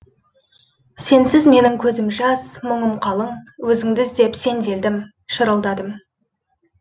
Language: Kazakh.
сенсіз менің көзім жас мұңым қалың өзіңді іздеп сенделдім шырылдадым